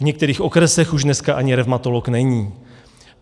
V některých okresech už dneska ani revmatolog není.